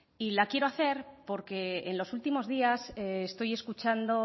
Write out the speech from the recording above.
la quiero hacer porque en los últimos días estoy escuchando